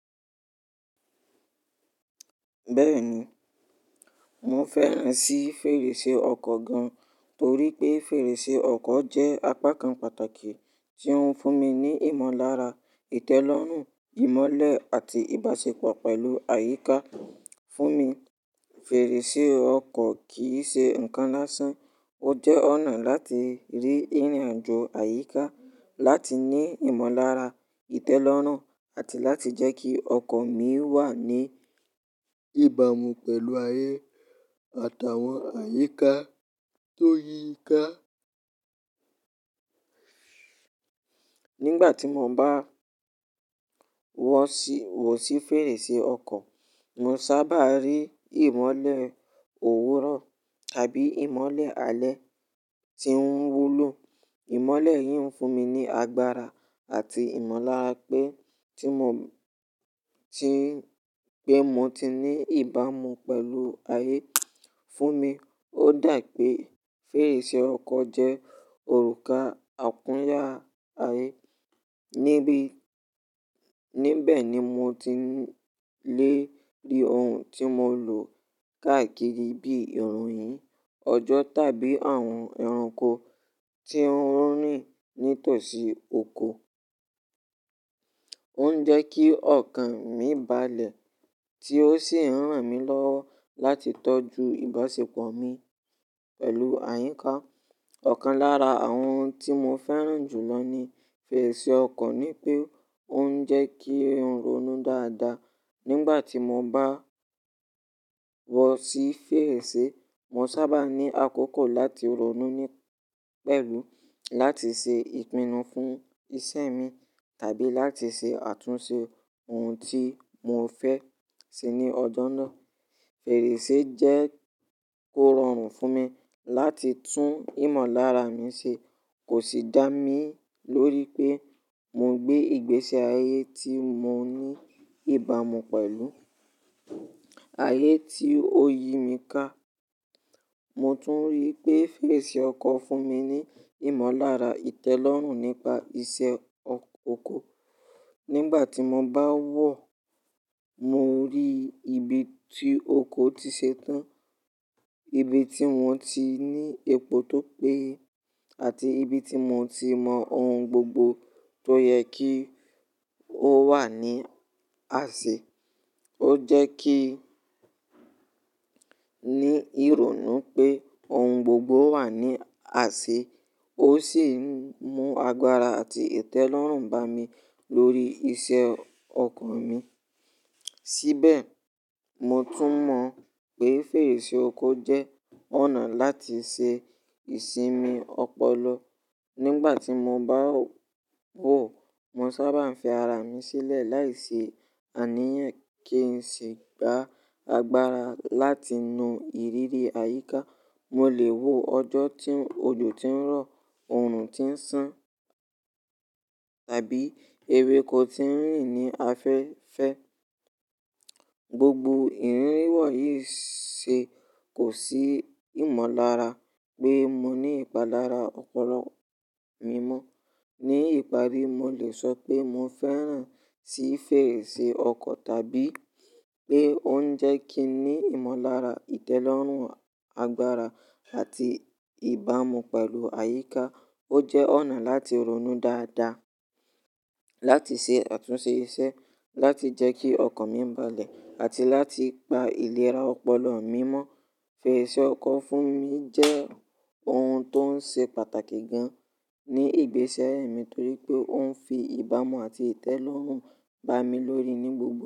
Bẹ́ẹ̀ni, mo fẹ́ràn sí fèrèsé ọkọ̀ gan, torí pé fèrèsé ọkọ̀ jẹ́ apá kan pàtàkì tí ó ń fún mi ní ìmọ̀lára, ìtẹ́lọ́rùn, ìmọ́lẹ̀ àti ìbáṣepọ̀ pẹ̀lú àyíká. Fún mi, fèrèsé ọkọ̀ kì í ṣe ǹkan lásán, ó jẹ́ ọ̀nà láti rí ìrìnàjò àyíká, láti ní ìmọ̀lára, ìtẹ́lọ́rùn àti láti jẹ́ kí ọkọ̀ mi wà ní ìbámu pẹ̀lú ayé àtàwọn àyíká tó yí i ká. Nígbà tí mo bá wọ̀ sí fèrèsé ọkọ̀, mo sábà rí ìmọ́lẹ̀ òwúrọ̀ tàbí ìmọ́lẹ̀ alẹ́ tí ń wú lọ. Ìmọ́lẹ̀ yìí ń fún mi ní agbára àti ìmọ̀lára pé tí mo, tí pé mo ti ní ìbámu pẹ̀lú ayé. Fún mi, ó dà pé fèrèsé ọkọ̀ jẹ́ òrùka àkúnya ayé. Nibí, níbẹ̀ ni mo ti lè rí ohun tí mo lò káàkiri bíi ìròyìn, ọjọ́ tàbí àwọn ẹranko tí ń rìn nítòsí oko. Ó ń jẹ́ kí ọkàn mí balẹ̀ tí ó sì ń ràn mí lọ́wọ́ láti tọ́jú ìbáṣepọ̀ mi pẹ̀lú àyíká. Ọ̀kan lára àwọn ohun tí mo fẹ́ràn jù lọ ní fèrèsé ọkọ̀ ni pé ó ń jẹ́ kí n ronú dáadáa. Nígbà tí mo bá wọ̀ sí fèrèsé, mo sábà ní àkókò láti ronú ní pẹ̀lú, láti ṣe Ìpinnu fún iṣẹ́ mi tàbí láti ṣe àtúnṣe ohun tí mo fẹ́ ṣe ní ọjọ́ náà. Fèrèsé jẹ́ ó rọrùn fún mi láti tún ìmọ̀lára mi ṣe, kò sì dá mi lórí pé mo gbé ìgbésẹ̀ ayé tí mo ní ìbámu pẹ̀lú ayé tí ó yí mi ká. Mo tún rí pé fèrèsé ọkọ̀ fún mi ní ìmọ̀lára ìtẹ́lọ́rùn nípa iṣẹ́ oko. Nígbà tí mo bá wọ̀, mo rí ibi tí oko ti ṣe tán, ibi tí wọ́n ti ní epo tó péye àti ibi tí mo ti mọ ohun gbogbo tó yẹ kí ó wà ní àṣẹ. Ó jẹ́ kí ní ìrònú pé ohun gbogbo wà ní àṣẹ, ó sì mú agbára àti ìtẹ́lọ́rùn bá mi lórí iṣẹ́ ọkọ̀ mi. Síbẹ̀, mo tún mọ̀ pé fèrèsé ọkọ̀ jẹ́ ọ̀nà láti ṣe ìsinmi ọpọlọ. Nígbà tí mo bá wò, mo sábà ń fi ara mi sílẹ̀ láìsí àníyàn kí n sì gba agbára láti nu ìrírí àyíká. Mo lè wò ọjọ́ tí ojò ti ń rọ̀, oòrùn ti ń ṣán tàbí ewéko ti ń rìn ní afẹ́fẹ́. Gbogbo ìrírí wọ̀ yìí ṣe kò sí ìmọ̀lára pé mo ní ìpalára ọpọlọ mi mọ́. Ní ìparí, mo lè sọ pé mo fẹ́ràn sí fèrèsé ọkọ̀ tàbí pé ó ń jẹ́ kí n ní ìmọ̀lára, ìtẹ́lọ́rùn, agbára àti ìbámu pẹ̀lú àyíká. Ó jẹ́ ọ̀nà láti ronú dáadáa, láti ṣe àtúnṣe iṣẹ́, láti jẹ́ kí ọkọ̀ mi balẹ̀ àti láti gba ìlera ọpọlọ mi mọ́. Fèrèsé ọkọ̀ fún mi jẹ́ ohun tó ń ṣe pàtàkì gan ní ìgbésíayé mi torí pé ó ń fi ìbámu àti ìtẹ́lọ́rùn bá mi lórí ní gbogbo.